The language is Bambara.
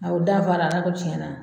U danfara Ala ko tiɲɛna